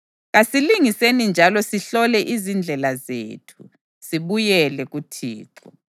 Kasilingeni njalo sihlole izindlela zethu, sibuyele kuThixo.